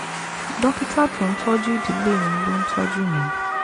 dókítà tó ń tọ́jú ìdílé mi ló ń tọ́jú mi